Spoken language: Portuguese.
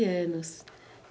Quinze anos.